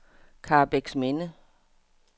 Karrebæksminde